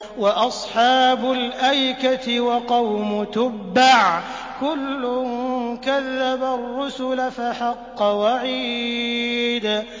وَأَصْحَابُ الْأَيْكَةِ وَقَوْمُ تُبَّعٍ ۚ كُلٌّ كَذَّبَ الرُّسُلَ فَحَقَّ وَعِيدِ